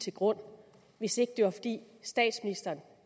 til grund hvis ikke det var fordi statsministeren